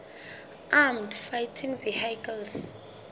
armoured fighting vehicles